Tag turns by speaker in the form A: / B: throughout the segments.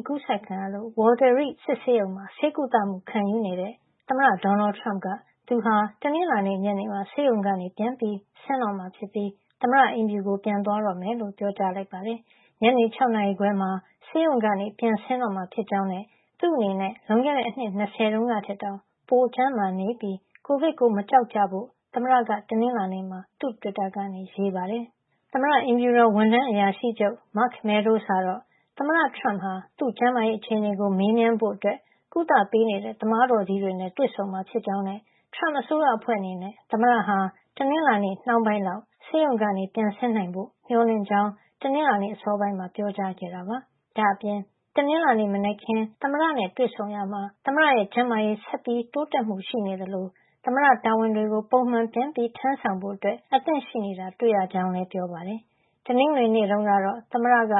A: အကူးစက်ခံရလို့ Walter Reed စစ်ဆေးရုံမှာ ဆေးကုသမှု ခံယူနေတဲ့ သမ္မတဒေါ်နယ်ထရမ့်က သူဟာ တနင်္လာနေ့ညနေမှာ ဆေးရုံကနေ ပြန်ဆင်းတော့မှာ ဖြစ်ပြီး သမ္မတအိမ်ဖြူတော်ကို ပြန်သွားတော့မယ်လို့ ပြောကြားလိုက်ပါတယ်။ ညနေ ၆ နာရီခွဲမှာ ဆေးရုံကပြန်ဆင်းတော့မှာ ဖြစ်ကြောင်းနဲ့ သူ့အနေနဲ့ လွန်ခဲ့တဲ့ နှစ် ၂၀ တုန်းကထက် တောင် ပိုကျန်းမာနေပြီး COVID ကို မကြောက်ကြဖို့ သမ္မတက တနင်္လာနေ့မှာ သူ့တွစ်တာကနေ ရေးပါတယ်။ သမ္မတအိမ်ဖြူတော် ဝန်ထမ်းအရာရှိချုပ် Mark Meadows ကတော့ သမ္မတထရမ့်ဟာ သူ့ကျန်းမာရေး အခြေနေကို မေးမြန်းဖို့ ကုသပေးနေတဲ့ သမားတော်ကြီးတွေနဲ့ တွေ့ဆုံမှာ ဖြစ်ကြောင်းနဲ့ ထရမ့်အစိုးရအဖွဲ့ အနေနဲ့ သမ္မတဟာ တနင်္လာနှောင်းပိုင်းလောက် ဆေးရုံကနေ ပြန်ဆင်းနိုင်ဖို့ မေ ျှာ်လင့်ကြောင်း တနင်္လာနေ့ အစောပိုင်းမှာ ပြောကြားခဲ့ပါတယ်။ ဒါ့အပြင် တနင်္လာ မနက်ခင်း သမ္မတနဲ့ တွေ့ဆုံ ရာမှာ သမ္မတရဲ့ ကျန်းမာရေး ဆက်တိုးတက်မှု ရှိနေသလို သမ္မတ တာဝန်တွေကို ပုံမှန်ပြန်ထမ်းဆောင်ဖို့ အသင့်ရှိနေတာတွေ့ရကြောင်းလည်း ပြောပါတယ်။ တနင်္ဂနွေနေ့တုန်းကတော့ သမ္မတက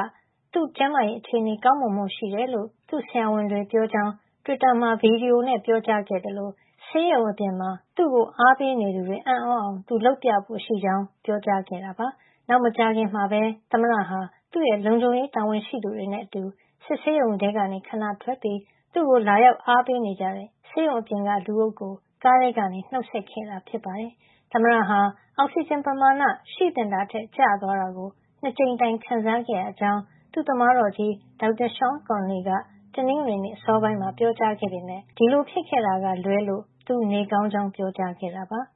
A: သူ့ကျန်းမာရေးအခြေနေကောင်းမွန်မှုရှိတယ်လို့ သူ့ဆရာဝန်တွေက ပြောကြောင်း တွစ်တာမှာ ဗွီဒီယိုနဲ့ ပြောကြားခဲ့သလို ဆေးရုံအပြင်မှာ သူ့ကိုအားပေးနေသူတွေ အံ့သြအောင် သူလုပ်ဖို့ရှိကြောင်း ပြောခဲ့တာပါ။ နောက် မကြာသေးခင်မှာပဲ သမ္မတဟာ သူ့ရဲ့လုံခြုံရေးတာဝန်ရှိသူတွေနဲ့အတူ စစ်ဆေးရုံထဲကနေ ခဏထွက်ပြီး သူ့ကို လာရောက်အားပေးနေကြတဲ့ ဆေးရုံအပြင်က လူအုပ်ကို ကားထဲကနေ နှုတ်ဆက်ခဲ့တာဖြစ်ပါတယ်။ သမ္မတဟာ အောက်ဆီဂျင် ပမာဏ ရှိသင့်တာထက် ကျသွားတာကို ၂ ကြိမ် ခံစားခဲ့ရကြောင်း သူ့သမားတော် Dr. Sean Conley
B: က တနင်္ဂနွေနေ့ စောပိုင်းမှာ ပြောကြားခဲ့ပေမယ့် ဒီလို ဖြစ်ခဲ့တာကလွဲလို့ သူနေကောင်းကြောင်း ပြောကြားခဲ့တာပါ။